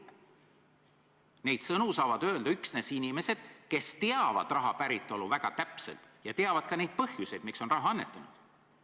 Neid sõnu saavad öelda üksnes inimesed, kes teavad raha päritolu väga täpselt ja teavad ka neid põhjuseid, miks on raha annetanud.